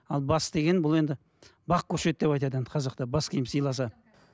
ал бас деген бұл енді бақ көшеді деп айтады енді қазақта бас киім сыйласа